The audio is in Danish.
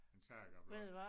En saga blot